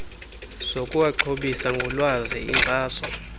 zokuwaxhobisa ngolwazi inkxaso